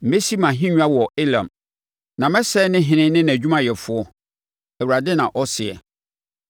Mɛsi mʼahennwa wɔ Elam na masɛe ne ɔhene ne nʼadwumayɛfoɔ,” Awurade na ɔseɛ.